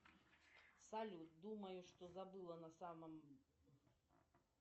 салют думаю что забыла на самом